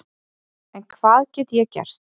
En hvað get ég gert?